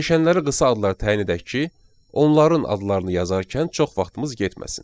Dəyişənlərə qısa adlar təyin edək ki, onların adlarını yazarkən çox vaxtımız getməsin.